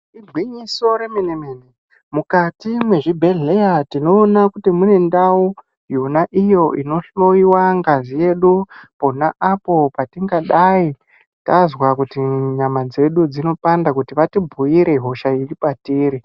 Igwinyiso remene-mene. Mukati mwezvibhehleya tinoona kuti mune ndau yona iyo inohloyiwa ngazi yedu pona apo patingadai tazwa kuti nyama dzedu dzinopanda kuti vatibhuire hosha iri patiri.